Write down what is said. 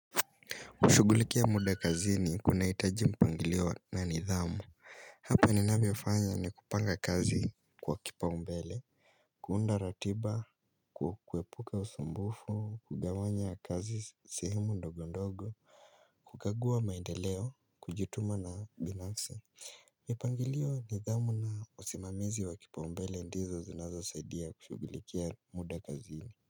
Kushugulikia muda kazi ni kuna itaji mpangilio na nidhamu Hapa ni navofanya ni kupanga kazi kwa kipa umbele kuunda ratiba, kuepuka usambufu, kugawanya kazi sehemu ndogo ndogo kukagua maendeleo, kujituma na binafsi mipangilio nidhamu na usimamizi wa kipa umbele ndizo zinazo saidia kushugulikia muda kazi ni.